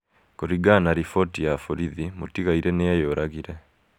Kũringana na riboti ya borithi, mũtigaire nĩ eyũragĩre.